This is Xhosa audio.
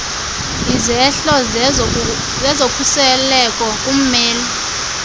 izehlo zezokhuseleko kummeli